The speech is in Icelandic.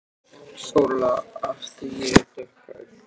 SÓLA: Af því ég er dökkhærð.